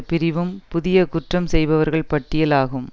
பிரிவும் புதிய குற்றம் செய்பவர்கள் பட்டியல் ஆகும்